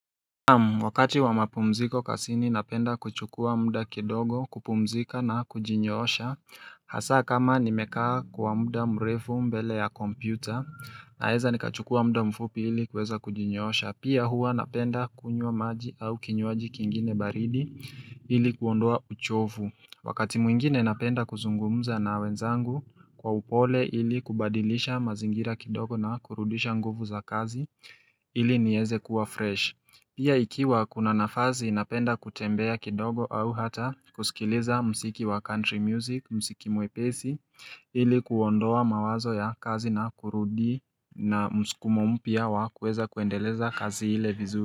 Wakati wa mapumziko kasini napenda kuchukua muda kidogo kupumzika na kujinyosha. Hasa kama nimekaa kwa muda mrefu mbele ya kompyuta. Naeza nikachukua muda mfupi ili kweza kujinyosha Pia hua napenda kunywa maji au kinywaji kingine baridi ili kuondoa uchovu Wakati mwingine napenda kuzungumza na wenzangu kwa upole ili kubadilisha mazingira kidogo na kurudisha nguvu za kazi. Ili nieze kuwa fresh. Pia ikiwa kuna nafazi inapenda kutembea kidogo au hata kusikiliza msiki wa country music, msiki muepesi, ili kuondoa mawazo ya kazi na kurudi na msukumo pia wa kweza kuendeleza kazi ile vizu.